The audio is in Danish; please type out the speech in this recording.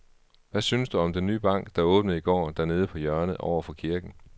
Hvad synes du om den nye bank, der åbnede i går dernede på hjørnet over for kirken?